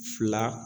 Fila